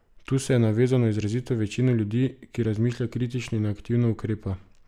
Tu se je navezal na izrazito večino ljudi, ki razmišlja kritično in aktivno ukrepa.